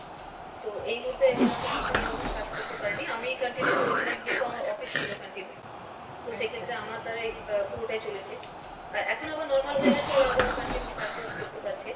তো এই মুহুর্তে ওরা কোনোরকম এই রকম কাজ করতে পারেনি আমি continue করেছিলাম যেহেতু আমার office ছিলো continue, তো সেক্ষেত্রে আমার দ্বারাই আহ পুরোটাই চলেছে, আহ এখন আবার normal হয়ে গেছে ওরা আবার continue কাজ বাজ করতে পারছে,